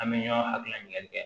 An bɛ ɲɔn hakilina ɲininkali kɛ